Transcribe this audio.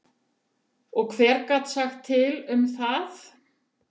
Og hver gat sagt til um það?